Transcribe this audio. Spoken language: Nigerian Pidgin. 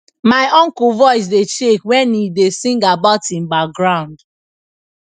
my uncle voice dey shake when he da sing about him baground